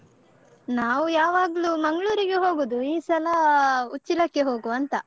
ನಾವು ಯಾವಾಗ್ಲು ಮಂಗ್ಳೂರಿಗೆ ಹೋಗದು ಈ ಸಲ ಆ ಉಚ್ಚಿಲಕ್ಕೆ ಹೋಗುವಂತ.